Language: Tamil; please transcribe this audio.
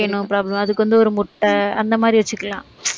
no problem அதுக்கு வந்து ஒரு முட்டை அந்த மாதிரி வச்சுக்கலாம்